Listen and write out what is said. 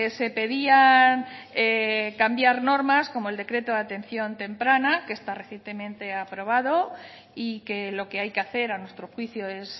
se pedían cambiar normas como el decreto de atención temprana que está recientemente aprobado y que lo que hay que hacer a nuestro juicio es